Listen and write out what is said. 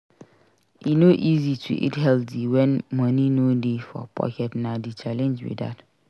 E no easy to eat healthy wen money no dey for pocket; na di challenge be dat.